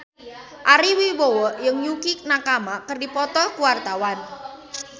Ari Wibowo jeung Yukie Nakama keur dipoto ku wartawan